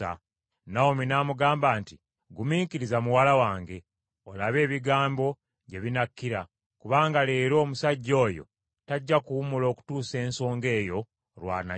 Nawomi n’amugamba nti, “Gumiikiriza, muwala wange, olabe ebigambo gye binakkira, kubanga leero omusajja oyo tajja kuwummula okutuusa ensonga eyo lw’anagimala.”